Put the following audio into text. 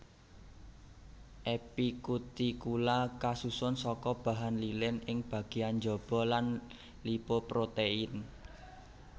Epikutikula kasusun saka bahan lilin ing bagéyan njaba lan lipoprotein